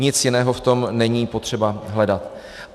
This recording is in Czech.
Nic jiného v tom není potřeba hledat.